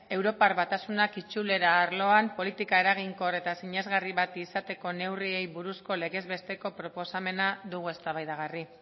europar batasunak itzulera arloan politika eraginkor eta sinesgarri bat izateko neurriei buruzko legez besteko proposamena dugu eztabaidagarri